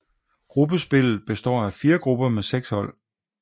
Gruppespillet består af fire grupper med seks hold